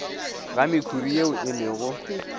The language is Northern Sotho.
ga mekhuri ye e lego